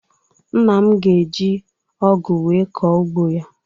Nna m ga-eji ọgụ wee kọọ ugbo ya.